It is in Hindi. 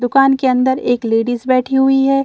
दुकान के अंदर एक लेडीज बैठी हुई है।